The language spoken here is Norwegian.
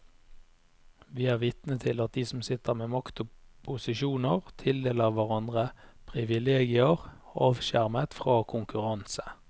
Vi er vitne til at de som sitter med makt og posisjoner, tildeler hverandre privilegier avskjermet fra konkurranse.